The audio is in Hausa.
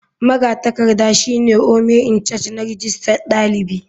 Magatakarda shine ome icharge na rijistar dalibi.